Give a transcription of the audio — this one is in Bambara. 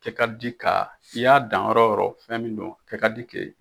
Kɛ ka di ka i y'a dan yɔrɔ yɔrɔ fɛn min do a kɛ ka di ke